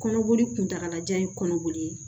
Kɔnɔboli kuntagalajan ye kɔnɔboli ye